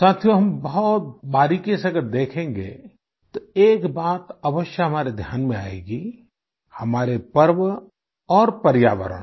साथियो हम बहुत बारीकी से अगर देखेंगे तो एक बात अवश्य हमारे ध्यान में आयेगी हमारे पर्व और पर्यावरण